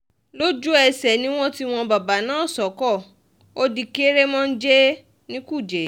lójú-ẹsẹ̀ ni wọ́n tì wọ́n bàbà náà sóko ó di kèrémónjẹ ní kújẹ́